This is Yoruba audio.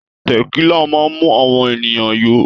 Tẹ̀kílà máa ń mú àwọn ènìyàn yó.